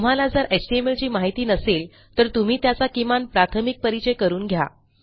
तुम्हाला जर एचटीएमएलची माहिती नसेल तर तुम्ही त्याचा किमान प्राथमिक परिचय करून घ्या